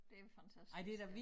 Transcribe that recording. Det jo fantastisk